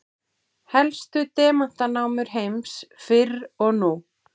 Helstu demantanámur heims fyrr og nú.